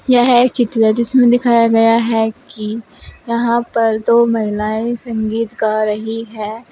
यह एक चित्र है जिसमें दिखाया गया है कि यहां पर दो महिलाएं संगीत गा रही हैं।